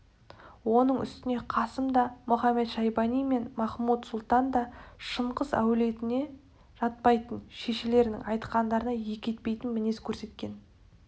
оның үстіне қасым да мұхамед-шайбани мен махмуд-сұлтан да шыңғыс әулетіне жатпайтын шешелерінің айтқандарын екі етпейтін мінез көрсеткен